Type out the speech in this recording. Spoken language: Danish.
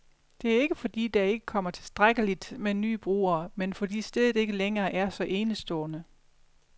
Det er ikke, fordi der ikke kommer tilstrækkeligt med nye brugere, men fordi stedet ikke længere er så enestående.